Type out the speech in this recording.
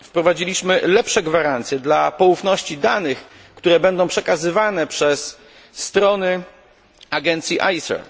Wprowadziliśmy lepsze gwarancje dla poufności danych, które będą przekazywane przez strony agencji ACER.